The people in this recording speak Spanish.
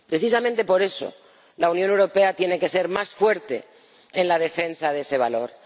Precisamente por eso la Unión Europea tiene que ser más fuerte en la defensa de ese valor.